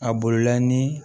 A bolola ni